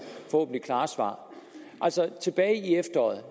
klare svar tilbage i efteråret